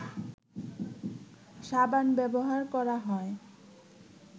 সাবান ব্যবহার করা হয়